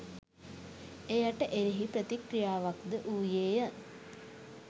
එයට එරෙහි ප්‍රතික්‍රියාවක් ද වූයේ ය.